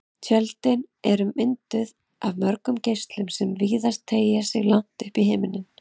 Tjöldin eru oft mynduð af mörgum geislum sem virðast teygja sig langt upp í himininn.